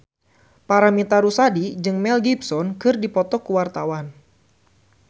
Paramitha Rusady jeung Mel Gibson keur dipoto ku wartawan